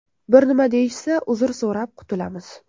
Bir nima deyishsa, uzr so‘rab qutulamiz.